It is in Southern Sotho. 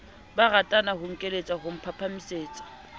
barata ho nkeletsa ho phahamisetsa